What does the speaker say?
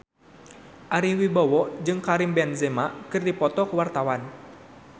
Ari Wibowo jeung Karim Benzema keur dipoto ku wartawan